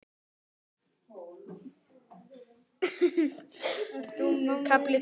KAFLI TVÖ